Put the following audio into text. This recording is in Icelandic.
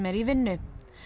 í vinnu